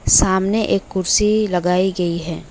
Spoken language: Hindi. सामने एक कुर्सी लगाई गई है।